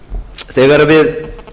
þegar við